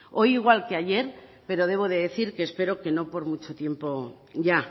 hoy igual que ayer pero debo de decir que espero que no por mucho tiempo ya